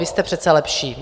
Vy jste přece lepší!